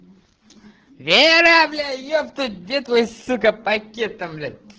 вера блять епту где твой сука пакет там блять